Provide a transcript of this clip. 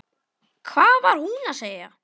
Hvað var hún að segja?